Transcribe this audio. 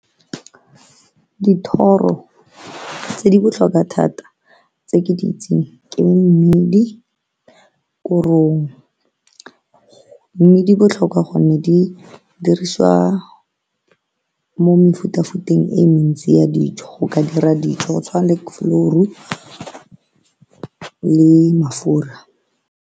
Dithoro tse di botlhokwa thata tse ke di itseng ke mmidi, korong mme di botlhokwa gonne di dirisiwa mo mefutafuteng e mentsi ya dijo go ka dira dijo go tshwana le flour-ro le mafura.